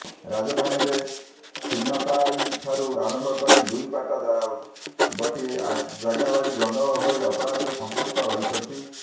ରାଜଧାନୀରେ ଛିନତାଇଠାରୁ ଆରମ୍ଭ କରି ଲୁଟପାଟ ଦାଦାବଟି ଜାଗାବାଡି ଗଣ୍ଡଗୋଳ ଭଳି ଅପରାଧରେ ସଂପୃକ୍ତ ରହୁଛନ୍ତି